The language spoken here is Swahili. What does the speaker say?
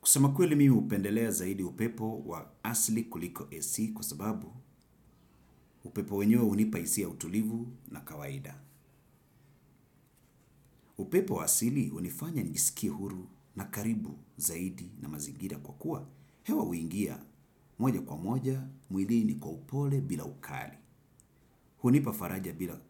Kusema kweli mimi hupendelea zaidi upepo waa asili kuliko ac kwa sababu upepo wenyewe hunipa hisi ya utulivu na kawaida. Upepo wa asili hunifanya nijisikie huru na karibu zaidi na mazingira kwa kuwa hewa huingia moja kwa moja mwilini kwa upole bila ukali. Hunipa faraja bila